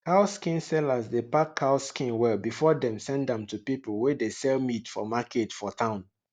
cow skin sellers dey pack cow skin well before dem send am to pipu wey dey sell meat for market for town